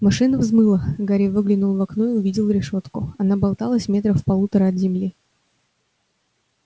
машина взмыла гарри выглянул в окно и увидел решётку она болталась метрах в полутора от земли